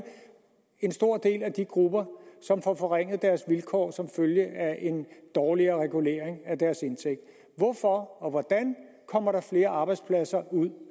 en stor del af de grupper som får forringet deres vilkår som følge af en dårligere regulering af deres indtægt hvorfor og hvordan kommer der flere arbejdspladser ud